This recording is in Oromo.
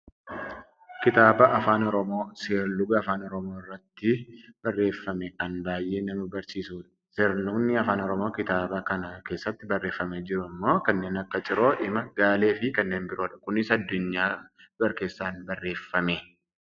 Kitaaba afaan oromoon seerluga afaan oromoo irratti barreeffame kan baayyee nama barsiisudha. Seerlugni afaan oromoo kitaaba kana keessatti barreefamee jiru ammoo kanneen akka ciroo, hima, gaalee fi kanneen biroodha. Kunis Addunyaa Barkeessan barreefame.